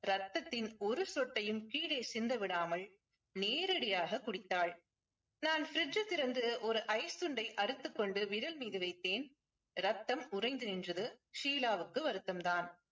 ரத்தத்தின் ஒரு சொட்டையும் கீழே சிந்த விடாமல் நேரடியாக குடித்தால் நான் fridge திறந்து ஒரு ice துண்டை அறுத்துக்கொண்டு விரல் மீது வைத்தேன் ரத்தம் உறைந்து நின்றது ஷீலாவுக்கு வருத்தம் தான்